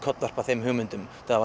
kollvarpa þeim hugmyndum þetta